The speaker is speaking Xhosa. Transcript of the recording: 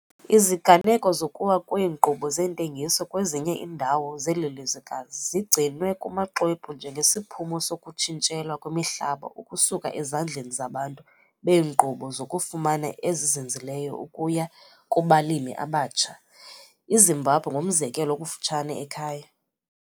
Iziganeko zokuwa kweenkqubo zeentengiso kwezinye iindawo zeli lizwekazi zigcinwe kumaxwebhu njengesiphumo sokutshintshelwa kwemihlaba ukusuka ezandleni zabantu beenkqubo zokufumana ezizinzileyo ukuya kubalimi abatsha- iZimbabwe ngumzekelo okufutshane ekhaya.